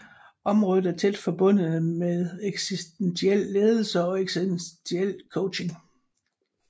Området er tæt forbundet med eksistentiel ledelse og eksistentiel coaching